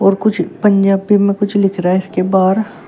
और कुछ पंजाबी में कुछ लिख रहा है के बाहर।